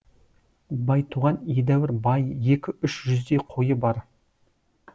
байтуған едәуір бай екі үш жүздей қойы бар